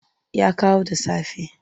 Ya kawo da safe.